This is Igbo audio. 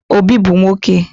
Obi bu nwoke